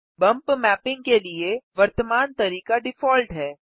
bump mapping के लिए वर्तमान तरीका डिफ़ॉल्ट है